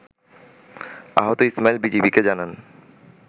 আহত ইসমাইল বিজিবিকে জানান